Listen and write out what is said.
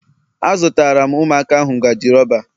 Azụtara m Ụmụaka ahu ngaji rọba